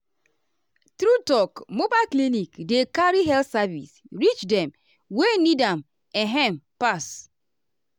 true talk mobile clinic dey carry health service reach dem wey need am[um]ehn pass.